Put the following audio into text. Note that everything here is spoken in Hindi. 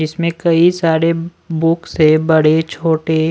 इसमें कई सारे बुक्स हैं बड़े छोटे--